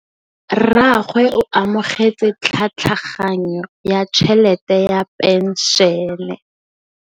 Rragwe o amogetse tlhatlhaganyô ya tšhelête ya phenšene.